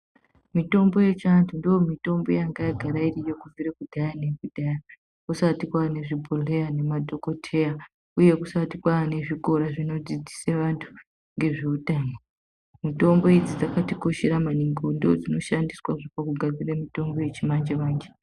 Mitombo yechiantu ndiyo mitombo yangayagara iriyo kubvira kudhaya nekudhaya kusati kwane zvibhodhleya nemadhokoteya, uye kusati kwane zvikora zvinodzidzise antu ngezveutano. Mitombo idzi dzakatikoshera maningi ndodzinoshandiswa pakugadzira mitombo yechimanje-manje.